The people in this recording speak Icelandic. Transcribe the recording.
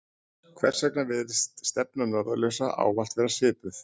hvers vegna virðist stefna norðurljósa ávallt vera svipuð